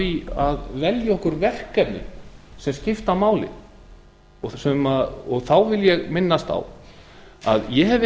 því að velja okkur verkefni sem skipta máli þá vil ég minnast á að ég hef